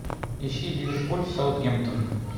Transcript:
ищи ливерпуль саутгемптон